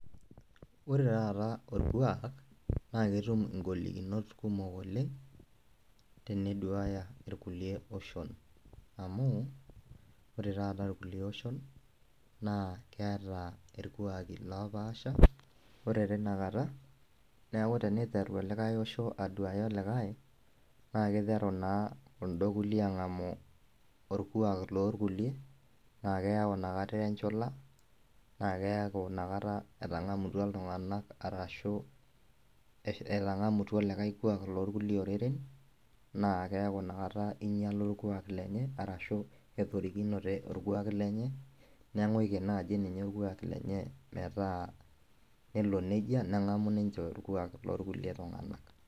Ore taata orkuak naketum ngolikinot kumok oleng teniduaya rkulie oshon, amu ore taata irkulie oshon nakeata irkuaki oopasha ore tinakata neaku teniteru likae osho aduaya likae nakiteru naa kulo kulie angamu orkuak lorkulie na kiteru na inakata ayau enchula nakeaku inakata etangamutua ltunganak likae kuak lorkulie oreren nakeaku inakata inyala orkuak lenye ashu etorikine orkuak lenye neaku inakata orkuak lenye metaa nelo nejia nengamu ninche orkuak lorkulie tunganak.